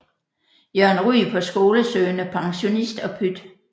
Jørgen Ryg på Skolesøgende Pensionist og Pyt